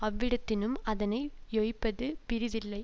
அவ்விடத்தினும் அதனை யொப்பது பிறிதில்லை